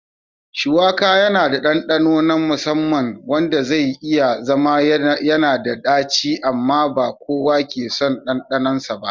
Shuwaka yana da ɗanɗano na musamman wanda zai iya zama yanada daci amma ba kowa ke son ɗanɗanonsa ba.